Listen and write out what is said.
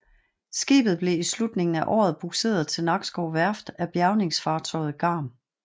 Skibet blev i slutningen af året bugseret til Nakskov Værft af bjærgningsfartøjet Garm